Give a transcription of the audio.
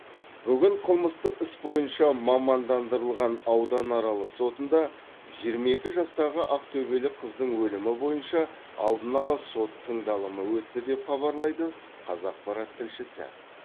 бүгін қылмыстық іс бойынша мамандандырылған ауданаралық сотында жиырма екі жастағы ақтөбелік қыздың өлімі бойынша алдын ала сот тыңдалымы өтті деп хабарлайды қазақпарат тілшісі